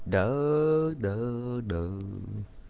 да-да-да